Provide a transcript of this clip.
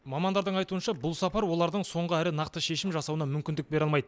мамандардың айтуынша бұл сапар олардың соңғы әрі нақты шешім жасауына мүмкіндік бере алмайды